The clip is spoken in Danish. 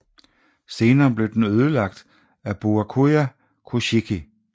Senere blev den ødelagt af Byakuya Kuchiki